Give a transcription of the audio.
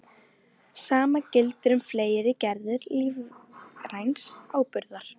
Sama gildir um fleiri gerðir lífræns áburðar.